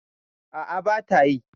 A'a, ba ta yi.